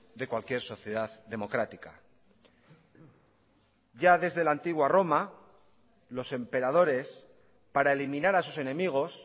de cualquier sociedad democrática ya desde la antigua roma los emperadores para eliminar a sus enemigos